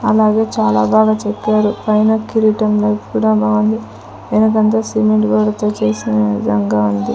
అలాగే చాలా బాగా చెప్పారు పైన కిరీటం లో కూడా బాగుంది వెనుకంత సిమెంట్ గోడతో చేసిన విధంగా ఉంది.